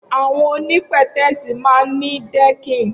Awọn óni pẹtẹẹsi mà n ni dẹkin